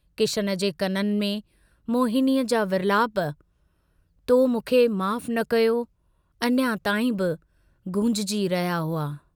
किशन जे कननि में मोहिनीअ जा विर्लाप तो मूंखे माफ़ न कयो" अञा ताईं बि गूंजजी रहिया हुआ।